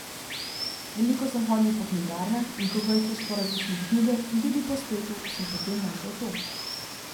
Veliko sem hodil po knjigarnah, in ko brskaš po različnih knjigah in tudi po spletu, sem potem našel to.